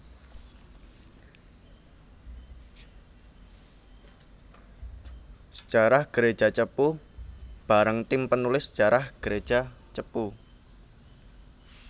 Sejarah Gereja Cepu bareng tim penulis sejarah gereja Cepu